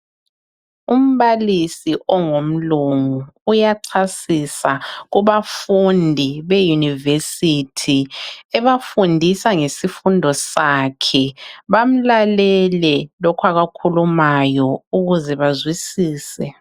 Umbalisi ongumlungu uyachasisa kubafundi be university ebafundisa ngesifundo sakhe bamlalele lokho akukhulumayo ukuze bazwisise .